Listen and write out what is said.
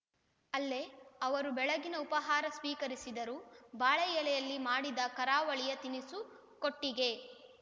ಅಲ್ಲೇ ಅವರು ಬೆಳಗ್ಗಿನ ಉಪಾಹಾರ ಸ್ವೀಕರಿಸಿದರು ಬಾಳೆ ಎಲೆಯಲ್ಲಿ ಮಾಡಿದ ಕರಾವಳಿಯ ತಿನಿಸು ಕೊಟ್ಟಿಗೆ